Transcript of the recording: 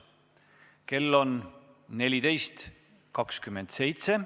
Kell on 14.27.